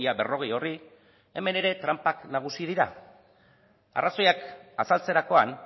berrogei horri hemen ere tranpak nagusi dira arrazoiak azaltzerakoan